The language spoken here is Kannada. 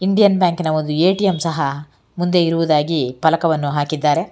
ಇಂಡಿಯನ್ ಬ್ಯಾಂಕಿ ನ ಒಂದು ಎ_ಟಿ_ಎಮ್ ಸಹ ಮುಂದೆ ಇರುವುದಾಗಿ ಪಲಕವನ್ನು ಹಾಕಿದ್ದಾರೆ.